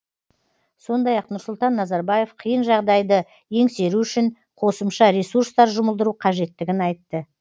сондай ақ нұрсұлтан назарбаев қиын жағдайды еңсеру үшін қосымша ресурстар жұмылдыру қажеттігін айтты